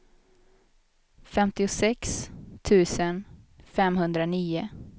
femtiosex tusen femhundranio